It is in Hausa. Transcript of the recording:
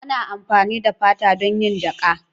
Ana amfani da fata don yin jaƙa.